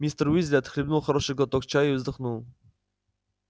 мистер уизли отхлебнул хороший глоток чаю и вздохнул